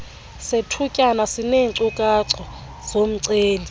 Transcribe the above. sethutyana sineenkcukacha zomceli